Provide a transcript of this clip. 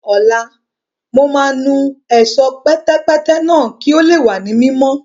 Ní ọ̀la, mo máa nu Ẹ̀ṣọ́ pẹ̀tẹ̀pẹ́tẹ̀ náà kí ó lè wà ní mímọ́